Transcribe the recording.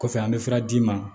Kɔfɛ an bɛ fura d'i ma